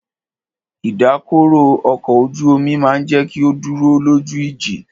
Ìdákọrò ọkọ̀ ojú omi máà jẹ́ kí o dúró lójú ìjì.